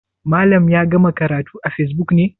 Malam ya gama karatu a facebook ne?